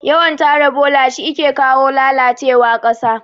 Yawan tara bola shike kawo lalacewa ƙasa